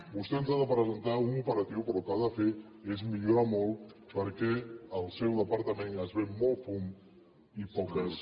vostè ens ha de presentar un operatiu però el que ha de fer és millorar molt perquè al seu departament es ven molt fum i poques